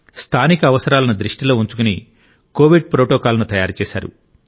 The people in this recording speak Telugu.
స్థానిక అవసరాలను దృష్టిలో ఉంచుకుని కోవిడ్ ప్రోటోకాల్ను తయారు చేశారు